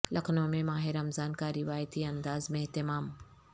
لکھنو میں ماہ رمضان کا روایتی انداز میں اہتمام